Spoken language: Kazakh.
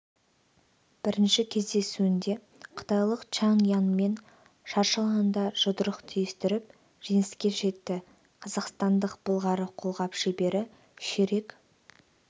бірінші кездесуінде қытайлық чанг яньмен шаршы алаңда жұдырық түйістіріп жеңіске жетті қазақстандық былғары қолғап шебері ширек